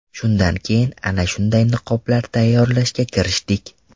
Shundan keyin ana shunday niqoblar tayyorlashga kirishdik.